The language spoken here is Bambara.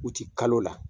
U ti kalo la